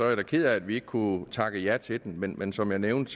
jeg da ked af at vi ikke kunne takke ja til den men men som jeg nævnte